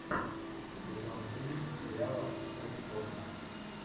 сезон три сериала открытый космос